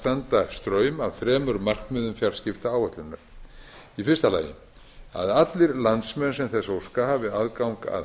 standa straum af þremur markmiðum fjarskiptaáætlunar fyrstu að allir landsmenn sem þess óska hafi aðgang að